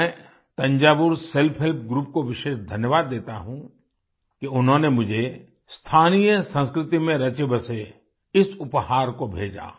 मैं Thanjavur self help group को विशेष धन्यवाद देता हूँ कि उन्होंने मुझे स्थानीय संस्कृति में रचेबसे इस उपहार को भेजा